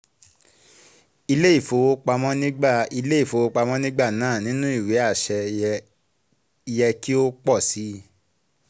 ilé ìfowopamọ́ nígbà ilé ìfowopamọ́ nígbà náà nínú ìwé àṣẹ yẹ kí ó pọ̀ si